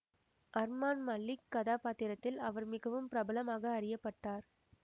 அர்மான் மலிக் கதாபாத்திரத்தில் அவர் மிகவும் பிரபலமாக அறியப்பட்டார்